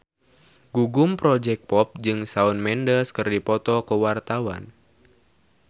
Gugum Project Pop jeung Shawn Mendes keur dipoto ku wartawan